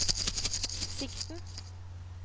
sikten